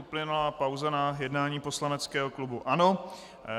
Uplynula pauza na jednání poslaneckého klubu ANO.